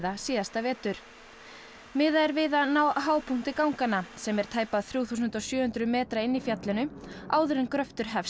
síðasta vetur miðað er við að ná hápunkti ganganna sem er tæpa þrjú þúsund sjö hundruð metra inni í fjallinu áður en gröftur hefst